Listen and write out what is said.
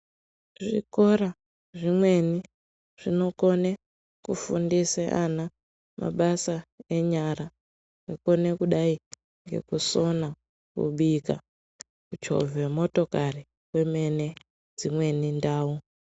Zvikora zvimweni zvinokone kufundise ana mabasa enyara akone kudai ngekusona, kubika, kuchovhe motokari kwemwene dzimweni ndau.